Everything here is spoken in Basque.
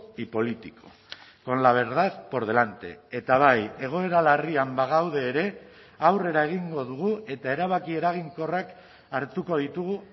y político con la verdad por delante eta bai egoera larrian bagaude ere aurrera egingo dugu eta erabaki eraginkorrak hartuko ditugu